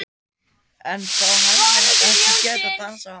En þá hefði hann ekki getað dansað við Halldóru